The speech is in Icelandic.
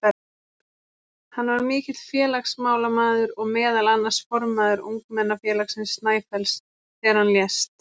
Hann var mikill félagsmálamaður og meðal annars formaður ungmennafélagsins Snæfells þegar hann lést.